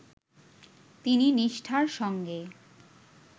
তিনি নিষ্ঠার সঙ্গে